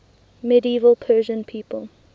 medieval persian people